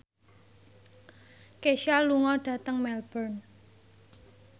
Kesha lunga dhateng Melbourne